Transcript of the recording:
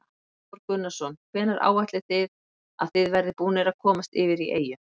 Hafþór Gunnarsson: Hvenær áætlið þið að þið verðið búnir að komast yfir í eyju?